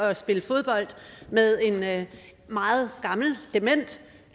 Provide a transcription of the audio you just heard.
at spille fodbold med en meget gammel dement